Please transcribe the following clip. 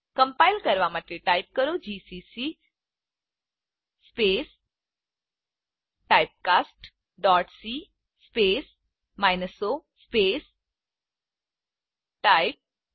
compile કરવા માટે type કરો જીસીસી typecastસી o ટાઇપ